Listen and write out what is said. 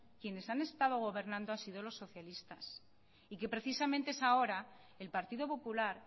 quienes han estado gobernando han sido los socialistas y que precisamente es ahora el partido popular